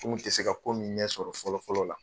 kun tɛ se ka ko min ɲɛsɔrɔ fɔlɔ fɔlɔ la.